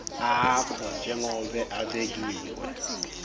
akho njengobe abekiwe